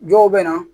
Dɔw bɛ na